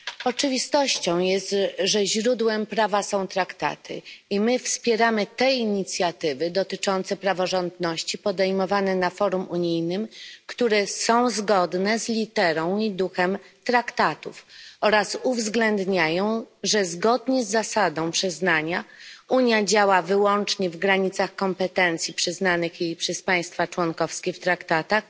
Oczywistością jest, że źródłem prawa są traktaty i my wspieramy te inicjatywy dotyczące praworządności podejmowane na forum unijnym, które są zgodne z literą i duchem traktatów oraz uwzględniają, że zgodnie z zasadą przyznania Unia działa wyłącznie w granicach kompetencji przyznanych jej przez państwa członkowskie w traktatach